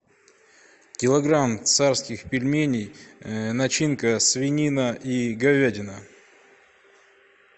килограмм царских пельменей начинка свинина и говядина